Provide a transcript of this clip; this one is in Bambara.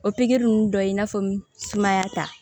O pikiri nunnu dɔ ye i n'a fɔ sumaya ta